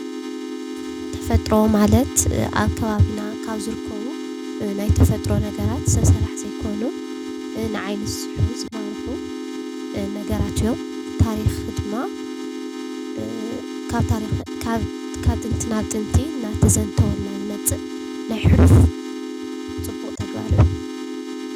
ተፈጥሮ ማለት አብ ከባቢና ካብ ዝርከቡ ናይ ተፈጥሮ ነገራት ሰብ ስራሕ ዘይኮኑ ንዓይኒ ዝስሕቡ፣ ዝማርኹ ነገራት እዮም። ታሪኽ ድማ ካብ ጥንቲ ናብ ጥንቲ እናተዘንተወልና ዝመፅእ ናይ ሕሉፍ ፅቡቕ ተግባር እዩ።